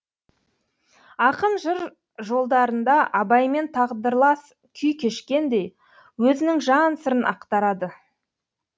ақын жыр жолдарында абаймен тағдырлас күй кешкендей өзінің жан сырын ақтарады